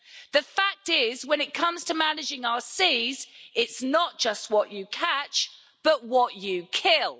The fact is, when it comes to managing our seas, it's not just what you catch, but what you kill.